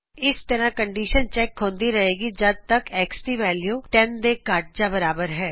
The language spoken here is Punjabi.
ਇਸ ਤਰ੍ਹਾ ਕੰਡੀਸ਼ਨ ਚੈੱਕ ਹੁੰਦੀ ਰਹੇ ਗੀ ਜਦ ਤੱਕ X ਦੀ ਵੈਲਯੂ 10 ਦੇ ਘੱਟ ਜਾ ਬਰਾਬਰ ਹੈ